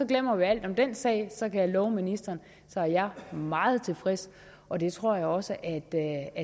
glemmer vi alt om den sag så kan jeg love ministeren at jeg er meget tilfreds og det tror jeg også at